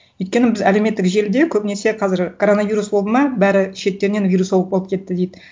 өйткені біз әлеуметтік желіде көбінесе қазір коронавирус болды ма бәрі шеттерінен вирусолог болып кетті дейді